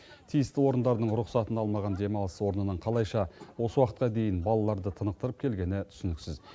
тиісті орындардың рұқсатын алмаған демалыс орнының қалайша осы уақытқа дейін балаларды тынықтырып келгені түсініксіз